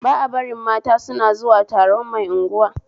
Ba a barin mata suna zuwa taron mai unguwa